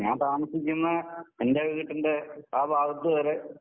ഞാൻ താമസിക്കുന്ന എൻറെ വീടിൻറെ ആ ഭാഗത്ത് വരെ